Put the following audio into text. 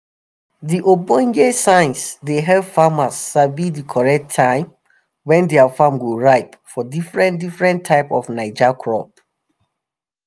di ogbonge science dey help farmers sabi di correct time wen their farm go ripe for diffren diffren type of naija crop.